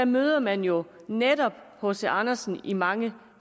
møder man jo netop hc andersen i mange